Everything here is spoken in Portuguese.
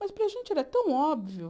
Mas para a gente era tão óbvio.